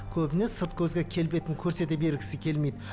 көбіне сырт көзге келбетін көрсете бергісі келмейді